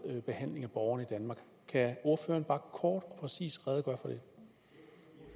behandling af borgerne i danmark kan ordføreren bare kort og præcist redegøre